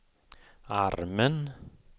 armen